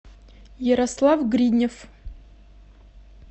ярослав гриднев